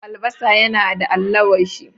Albasa yana da allawashi.